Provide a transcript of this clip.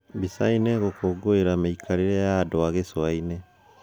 Mbicaini:Gũkũngũira mekarìre ya andũ ma gìcuainì